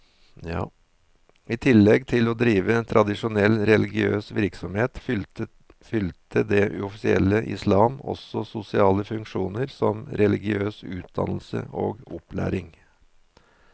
I tillegg til å drive tradisjonell religiøs virksomhet, fylte det uoffisielle islam også sosiale funksjoner som religiøs utdannelse og opplæring.